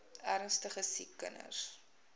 ernstige siek kinders